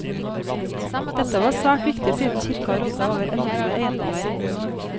Dette var svært viktig siden kirka rådde over enorme eiendommer.